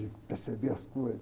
De perceber as coisas.